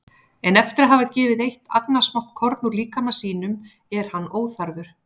En eftir að hafa gefið eitt agnarsmátt korn úr líkama sínum er hann óþarfur.